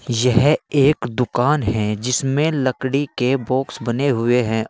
यह एक दुकान है जिसमें लकड़ी के बॉक्स बने हुए हैं।